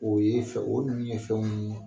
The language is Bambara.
O ye fɛn o ninnu ye fɛnw ye